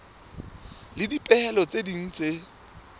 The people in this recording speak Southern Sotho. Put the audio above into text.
le dipehelo tse ding tse